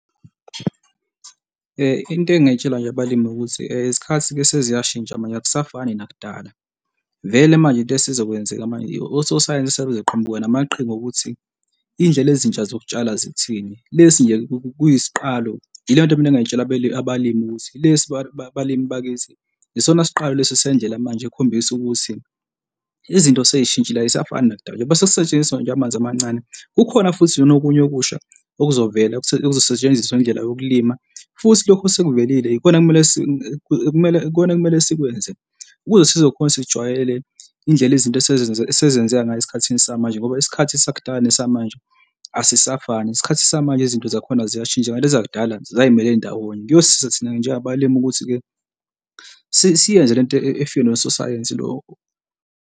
Into engingakutshela nje abalimi ukuthi isikhathi-ke seziyashintsha manje akusafani nakudala. Vele manje into esizokwenzeka manje ososayensi sebezoqhamuka namaqhinga okuthi izindlela ezintsha zokutshalwa zithini, lesi nje kuyisiqalo. Yileyo nto mina engingay'tshala abalimi ukuthi lesi balimi bakwazi yisona siqalo lesi sendlela manje, okhombisa ukuthi izinto sey'shintshile ay'safani nakudala njengoba sekusetshenziswa nje amanzi amancane. Kukhona futhi lona okunye okusha okuzovela okuzosetshenziswa ngendlela yokulima. Futhi lokho sekuvelile, yikona ekumele ekumele, ikona okumele okumele sikwenze ukuze sizokhona sijwayele indlela izinto esenzeka ngayo esikhathini samanje ngoba isikhathi sakudala nesamanje asisafani. Isikhathi samanje izinto zakhona ziyashintsha kanti ezakudala, zisamele ndawonye. Kuyosisiza thina njengabalimi ukuthi-ke siyenze le nto efike nososayensi lo.